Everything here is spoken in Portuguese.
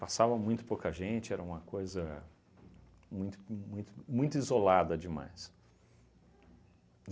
Passava muito pouca gente, era uma coisa muito muito muito isolada demais.